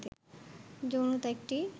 যৌনতা একটি